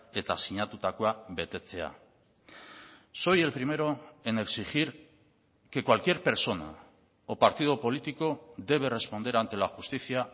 eta sinatutakoa betetzea soy el primero en exigir que cualquier persona o partido político debe responder ante la justicia